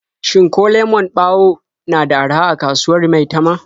Shin ko lemon ɓawo na da araha a kasuwar Maitama?